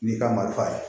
N'i ka marifa ye